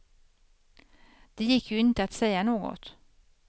Det gick ju inte att säga något.